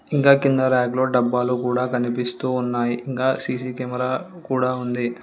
ఇంకా కింద ర్యక్లో డబ్బాలు కూడా కనిపిస్తూ ఉన్నాయి ఇంకా సీ_సీ కెమెరా కూడా ఉంది.